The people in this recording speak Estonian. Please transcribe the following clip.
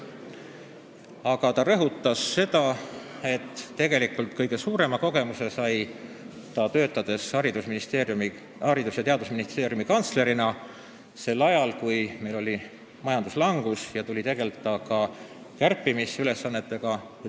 Aga ta rõhutas ka seda, et kõige suurema kogemuse sai ta töötades Haridus- ja Teadusministeeriumi kantslerina sel ajal, kui meil oli majanduslangus ja tuli tegelda kärpimisega.